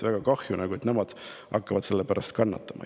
Väga kahju, et nemad hakkavad selle pärast kannatama.